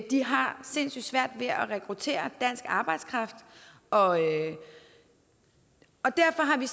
de har sindssyg svært ved at rekruttere dansk arbejdskraft og og derfor har vi